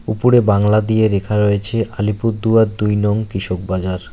উপরে বাংলা দিয়ে লেখা রয়েছে আলিপুরদুয়ার দুই নং কৃষক বাজার।